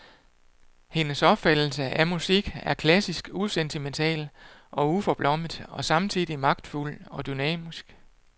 Hendes opfattelse af musik er klassisk usentimental og uforblommet og samtidig magtfuld og dynamisk.